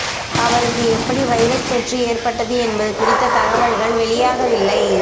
அவருக்கு எப்படி வைரஸ் தொற்று ஏற்பட்டது என்பது குறித்த தகவல்கள் வெளியாகவில்லை